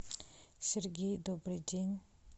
сергей добрый день